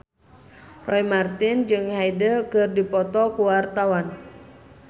Roy Marten jeung Hyde keur dipoto ku wartawan